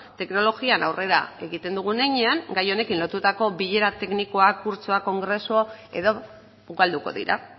teknologian aurrera egiten dugun heinean gai honekin lotutako bilera teknikoak kurtsoak kongresu edo ugalduko dira